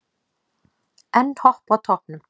Enn Hopp á toppnum